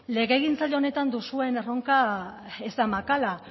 legegintza honetan duzuen erronka ez da makala